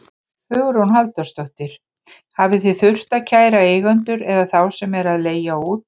Hugrún Halldórsdóttir: Hafið þið þurft að kæra eigendur eða þá sem eru að leigja út?